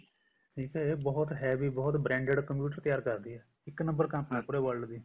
ਠੀਕ ਆ ਇਹ ਬਹੁਤ heavy ਬਹੁਤ branded computer ਤਿਆਰ ਕਰਦੀ ਆ ਇੱਕ number ਕੰਮ ਆ ਪੂਰੇ world ਚ